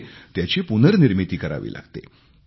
म्हणजे त्याची पुननिर्मिती करावी लागते